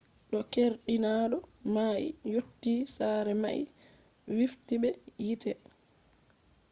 de keerdinaado mai yotti sare mai wifti be yite